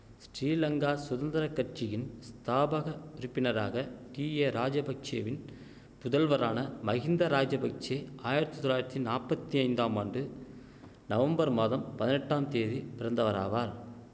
ஸ்ரீலங்கா சுதந்திர கட்சியின் ஸ்தாபக உறுப்பினராக டீஏ ராஜபக்ஷெவின் புதல்வரான மஹிந்த ராஜபக்ஷெ ஆயிரத்தி தொளயிரத்தி நாப்பத்தி ஐந்தாம் ஆண்டு நவம்பர் மாதம் பதினெட்டாம் தேதி பிறந்தவராவார்